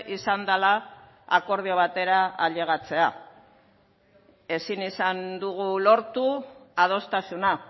izan dela akordio batera ailegatzea ezin izan dugu lortu adostasuna